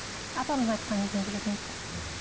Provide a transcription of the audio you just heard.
апамыздың айтқанымен жүретінбіз м